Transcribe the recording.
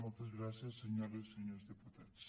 moltes gràcies senyores i senyors diputats